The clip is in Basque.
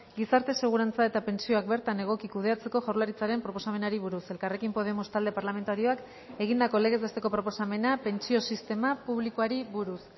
gizarte segurantza eta pentsioak bertan egoki kudeatzeko jaurlaritzaren proposamenari buruz elkarrekin podemos talde parlamentarioak egindako legez besteko proposamena pentsio sistema publikoari buruz